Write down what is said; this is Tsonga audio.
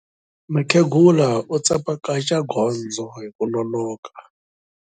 Mukhegula u tsemakanya gondzo hi ku nonoka.